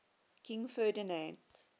king ferdinand